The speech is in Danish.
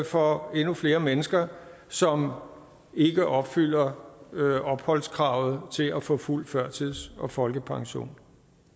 for endnu flere mennesker som ikke opfylder opholdskravet til at få fuld førtids og folkepension